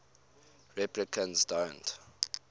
replicants don't